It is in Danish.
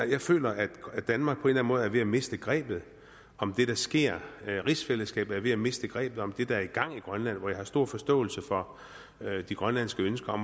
jeg føler at danmark på en eller anden måde er ved at miste grebet om det der sker rigsfællesskabet er ved at miste grebet om det der er i gang i grønland jeg har stor forståelse for de grønlandske ønsker